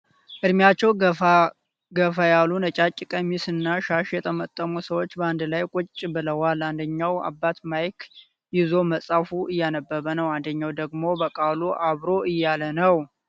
እድሜያቸው ገፋ ገፋ ያሉ ነጫጭ ቀሚስ እና ሻሽ የጠመጠሙ ሰወች በአንድ ላይ ቁጭ ብለዋል ። አንድኛው አባት ማይክ ይዞ መጽሀፍ አያነበበ ነው ። አንድኛው ደግሞ በቃሉ አብሮ እያለ ነው ።